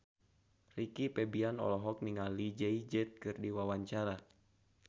Rizky Febian olohok ningali Jay Z keur diwawancara